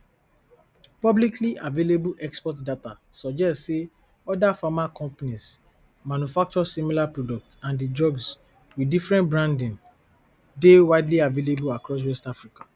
publicly available export data suggest say other pharma companies manufacture similar products and di drugs with different branding dey widely available across west africa